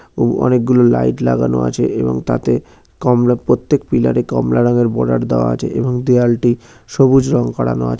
ও অনেক গুলো লাইট লাগানো আছে এবং তাতে কমলা প্রত্যেক পিলার এ কমলা রঙের বর্ডার দেওয়া আছে এবং দেয়ালটি সবুজ রং করানো আছ--